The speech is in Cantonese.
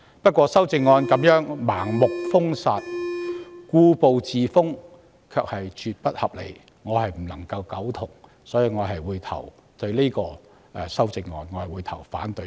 不過，范議員的修正案盲目封殺、故步自封，絕不合理，我無法苟同，所以我會對這項修正案投反對票。